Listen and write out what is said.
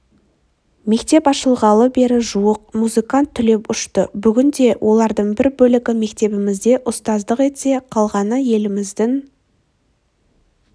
мектеп ашылғалы бері жуық музыкант түлеп ұшты бүгінде олардың бір бөлігі мектебімізде ұстаздық етсе қалғаны еліміздің